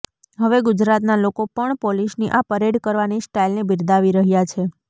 હવે ગુજરાતનાં લોકો પણ પોલીસની આ પરેડ કરવાની સ્ટાઈલને બિરદાવી રહ્યાં છે